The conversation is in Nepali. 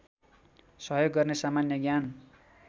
सहयोग गर्ने सामान्य ज्ञान